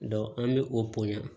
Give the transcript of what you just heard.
an bɛ o poɲa